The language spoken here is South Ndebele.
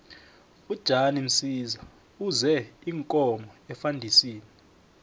ujan msiza use iinkomo efandisini